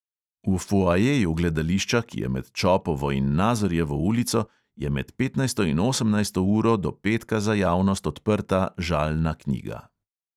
V foajeju gledališča, ki je med čopovo in nazorjevo ulico, je med petnajsto in osemnajsto uro do petka za javnost odprta žalna knjiga.